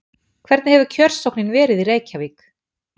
Hvernig hefur kjörsóknin verið í Reykjavík?